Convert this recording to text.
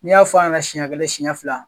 N 'i y'a fɔ yɛnɛ siɲɛ kɛla siɲɛ fila